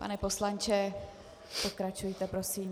Pane poslanče, pokračujte prosím.